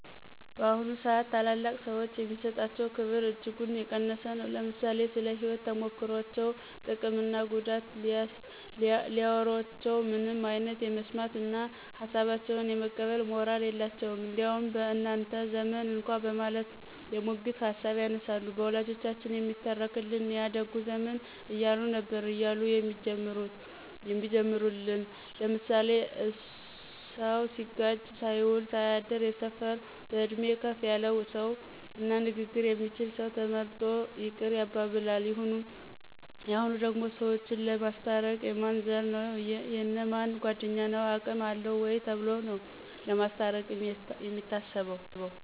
በአሁኑ ስአት ታላላቅ ሰዎች የሚሰጣቸው ክብር እጅጉን የቀነሰ ነው። ለምሳሌ ስለ ህይወት ተሞክሮቸው ጥቅም እና ጉዳት ሲያዎሮቸው ምንም አይነት የመስማት እነ ሀሳባቸውን የመቀበል ሞራል የላቸውም። እንዲያውም በእናንተ ዘመን እኳ በማለት የሙግት ሀሳብ ያነሳሉ። በወላጆቻችን የሚተረክልን ያ ደጉ ዘመን እያሉ ነበር እያሉ የሚጀምሩል ለምሳሌ ስሰው ሲጋጭ ሳይውል ሳያድር የሰፈር በእድሜ ከፍ ያለ ሰው እና ንግግር የሚችል ሰው ተመርጦ ይቅር ያባብላን። የሁኑ ደግሞ ሰዎችን ለማስታረቅ የማን ዘር ነው : የእነ ማን ጓድኞ ነው አቅም አለው ወይ ተብሎ ነው ለማስታርቅ የሚታሰበው